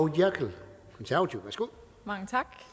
noterede mig